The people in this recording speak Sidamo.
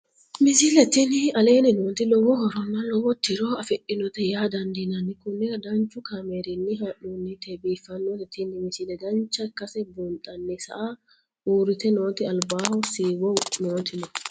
misile tini aleenni nooti lowo horonna lowo tiro afidhinote yaa dandiinanni konnira danchu kaameerinni haa'noonnite biiffannote tini misile dancha ikkase buunxanni saa urrite nooti albaho siiwo nooti no.